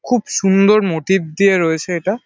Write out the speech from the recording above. খুব সুন্দর মোটিভ দিয়ে রয়েছে এটা।